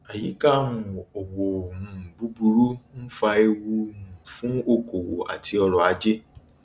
àyíká um òwò um búburú ń fa ewu um fún okòòwò àti ọrọ ajé